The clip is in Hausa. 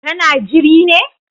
Ka na jiri ne?